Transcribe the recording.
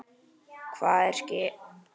Hvað er að ske?